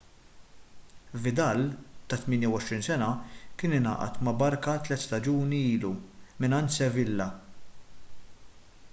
vidal ta' 28 sena kien ingħaqad ma' barça tliet staġuni ilu mingħand sevilla